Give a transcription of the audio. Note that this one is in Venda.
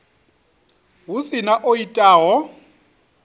hu si na o itaho